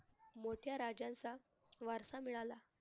मोठ्या राजांचा वारसा मिळाला.